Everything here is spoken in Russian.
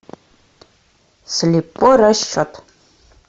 слепой расчет